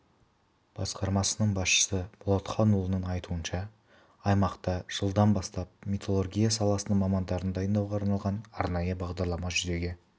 басқармасының басшысы болатханұлының айтуынша аймақта жылдан бастап металлургия саласының мамандарын дайындауға арналған арнайы бағдарлама жүзеге